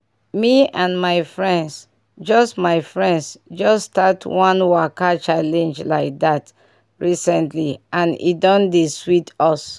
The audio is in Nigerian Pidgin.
me and my friends just my friends just start one waka challenge like dat recently and e don dey sweet us.